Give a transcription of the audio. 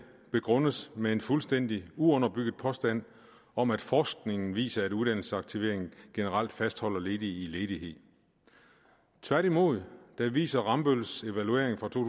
begrundes med en fuldstændig uunderbygget påstand om at forskningen viser at uddannelse og aktivering generelt fastholder ledige i ledighed tværtimod viser rambølls evaluering fra to